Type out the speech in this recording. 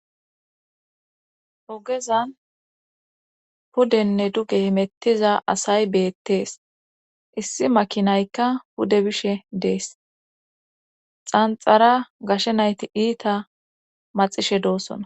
ogezan pudenne duge himettiza asay beettees issi makinaykka pude bishe dees xanxara gashe nayti iita maxishe doossona